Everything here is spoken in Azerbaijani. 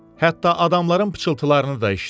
Hətta adamların pıçıltılarını da eşitdi.